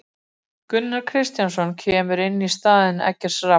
Gunnar Kristjánsson kemur inn í stað Eggerts Rafns.